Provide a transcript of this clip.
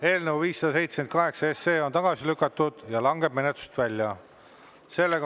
Eelnõu 578 on tagasi lükatud ja langeb menetlusest välja.